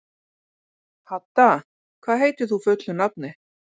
Hadda, hvað heitir þú fullu nafni?